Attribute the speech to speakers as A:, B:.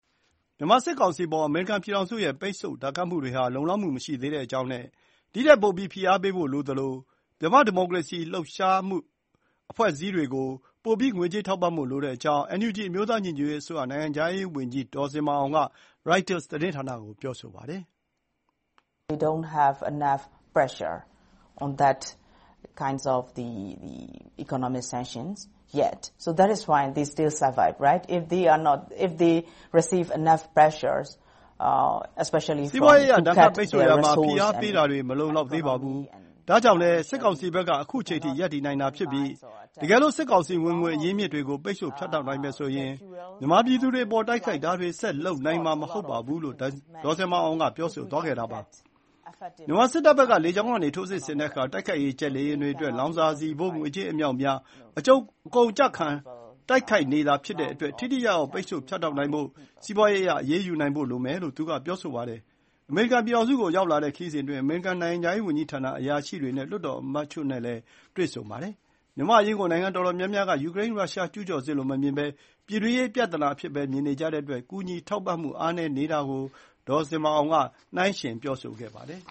A: မြန်မာ စစ်ကောင်စီအပေါ် အမေရိကန်ပြည်ထောင်စုရဲ့ ပိတ်ဆို့ဒဏ်ခတ်မှုတွေဟာ လုံလောက်မှု မရှိသေးတဲ့အကြောင်းနဲ့ ဒီထက်ပိုပြီး ဖိအားပေးဖို့လိုသလို မြန်မာ့ ဒီမိုကရေစီရေးအတွက် လှုပ်ရှားနေတဲ့ အဖွဲ့အစည်းတွေ ကို ပိုပြီး ငွေကြေးထောက်ပံ့ဖို့လိုတဲ့အကြောင်း NUG အမျိုးသားညီညွတ်ရေးအစိုးရ နိုင်ငံခြားရေးဝန်ကြီး ဒေါ်ဇင်မာအောင် က Reuters သတင်းဌာနကို ပြောဆိုပါတယ်။
B: “စီးပွားရေးအရ ဒဏ်ခတ် ပိတ်ဆို့ရာမှာ ဖိအားပေးတာတွ
A: ေ မလုံလောက်သေးပါဘူး။ ဒါ့ကြောင့်လည်း စစ်ကောင်စီဘက် က အခုအချိန်အထိ ရပ်တည်နိုင်တာဖြစ်ပြီး တကယ်လို့ စစ်ကောင်စီ ဝင်ငွေ အရင်းအမြစ်တွေ ကို ပိတ်ဆို့ ဖြတ်တောက်နိုင်မယ်ဆိုရင် မြန်မာပြည်သူတွေအပေါ် တိုက်ခိုက်တာတွေ ဆက် လုပ်နိုင်မှာ မဟုတ်ပါဘူး” - လို့ ဒေါ်ဇင်မာအောင် ပြောဆိုသွားတာပါ။ မြန်မာစစ်တပ်ဘက် က လေကြောင်းကနေ ထိုးစစ်ဆင်တဲ့အခါ တိုက်ခိုက်ရေး ဂျက်လေယာဉ်တွေ အတွက် လောင်စာဆီဖိုး ငွေကြေးအမြောက်အများ အကုန်အကျခံ တိုက်နေတာဖြစ်တဲ့အတွက် ထိထိရောက်ရောက် ပိတ်ဆို့ ဖြတ်တောက်နိုင်ဖို့ စီးပွားရေးအရ အရေးယူနိုင်ဖို့လိုမယ်လို့ သူက ပြောဆိုပါတယ်။ အမေရိကန်ပြည်ထောင်စုကို ရောက်လာတဲ့ခရီးစဉ်အတွင်း အမေရိကန်နိုင်ငံခြားရေးဝန်ကြီးဌာန အရာရှိတွေ နဲ့ လွှတ်တော်အမတ်တချို့ ကို တွေ့ဆုံပါတယ်။ မြန်မာနိုင်ငံအရေး ကို နိုင်ငံတော်တော်များများ က ယူကရိန်း-ရုရှား ကျုးကျော်စစ်လိုမမြင်ဘဲ ပြည်တွင်းရေး ပြသနာအဖြစ်ပဲ မြင်နေကြတဲ့အတွက် ကူညီထောက်ပံ့မှု အားနည်းတာကို ဒေါ်ဇင်မာအောင် နိုင်းယှဉ် ပြောဆိုပါတယ်